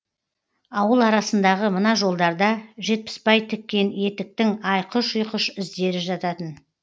ауыл арасындағы мына жолдарда жетпісбай тіккен етіктің айқыш ұйқыш іздері жататын